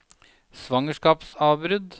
svangerskapsavbrudd